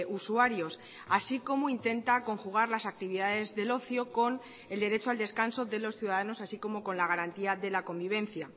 usuarios así como intenta conjugar las actividades del ocio con el derecho al descanso de los ciudadanos así como con la garantía de la convivencia